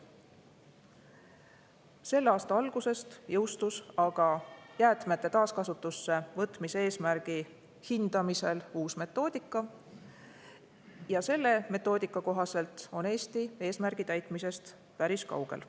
Selle aasta alguses jõustus aga uus metoodika jäätmete taaskasutusse võtmise eesmärgi hindamiseks ja selle metoodika kohaselt on Eesti eesmärgi täitmisest päris kaugel.